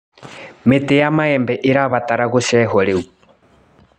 Mĩtĩ ya maembe ĩrabatara gũcehwo rĩu.